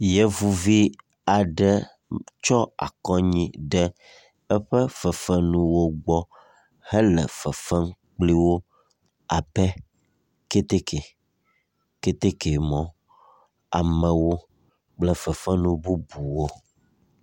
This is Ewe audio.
Yevuvi aɖe tsɔ akɔ anyi ɖe eƒe fefe nuwo gbɔ hele fefem kple wo abe keteke, keteke mɔ, amewo kple fefe nu bubuwo.